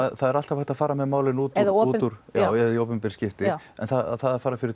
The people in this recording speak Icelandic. það er alltaf hægt að fara með málin út úr eða í opinber skipti en það að fara fyrir